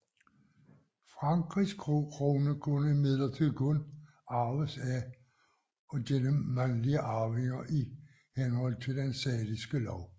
Frankrigs krone kunne imidlertid kun arves af og gennem mandlige arvinger i henhold til Den saliske lov